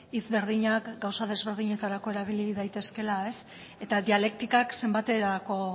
hitz berdinak gauza ezberdinetarako erabili daitezkeela eta dialektikak zenbaterako